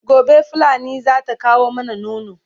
gobe fulani zata kawo mana nono